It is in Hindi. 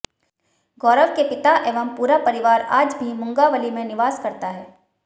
गौरव के पिता एवं पूरा परिवार आज भी मुंगावली मेें निवास करता है